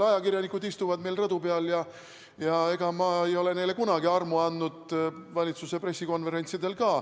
Ajakirjanikud istuvad seal rõdu peal, ega ma ei ole neile kunagi armu andnud, valitsuse pressikonverentsidel ka.